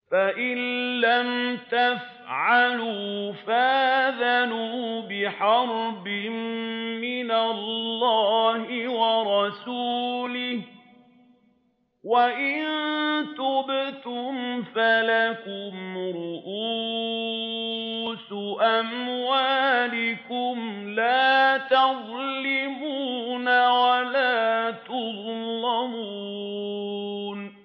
فَإِن لَّمْ تَفْعَلُوا فَأْذَنُوا بِحَرْبٍ مِّنَ اللَّهِ وَرَسُولِهِ ۖ وَإِن تُبْتُمْ فَلَكُمْ رُءُوسُ أَمْوَالِكُمْ لَا تَظْلِمُونَ وَلَا تُظْلَمُونَ